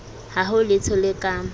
ha ho letho le ka